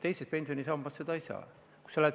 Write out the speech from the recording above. Teises pensionisambas seda ei saa.